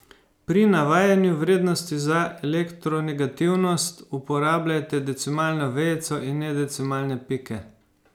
Pri navajanju vrednosti za elektronegativnost uporabljajte decimalno vejico in ne decimalne pike.